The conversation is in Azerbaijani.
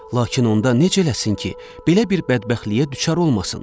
Lakin onda necə eləsin ki, belə bir bədbəxtliyə düçar olmasın?